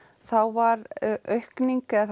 þá var aukning eða